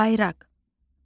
Bayraq.